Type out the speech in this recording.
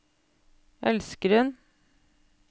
elskeren